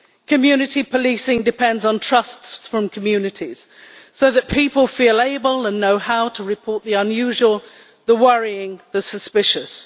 Community policing depends on trust from communities, so that people feel able and know how to report the unusual, the worrying and the suspicious.